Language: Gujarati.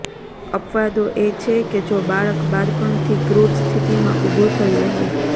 અપવાદો એ છે કે જો બાળક બાળપણથી ક્રૂર સ્થિતિમાં ઉભો થયો હોય